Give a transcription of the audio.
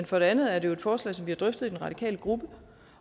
for det andet er det jo et forslag som vi har drøftet i den radikale gruppe